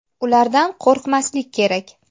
Ulardan qo‘rqmaslik kerak.